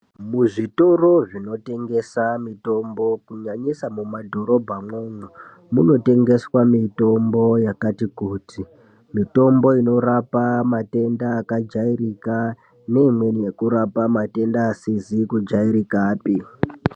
Muzvitoro zvinotengesa mitombo kunyanyisa mumadhorobhamwo munotengeswa mitombo yakati kuti mitombo inorapa matenda akajairika neimweni inorapa matenda asizi kujairikapi.